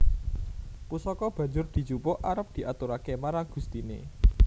Pusaka banjur dijupuk arep diaturaké marang gustiné